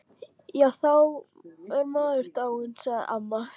Já, þá er maður dáinn, sagði amma.